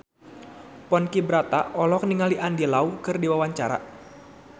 Ponky Brata olohok ningali Andy Lau keur diwawancara